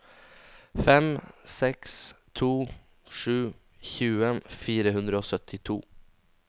fem seks to sju tjue fire hundre og syttito